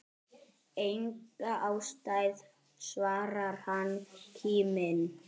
Enga ástæðu svarar hann kíminn.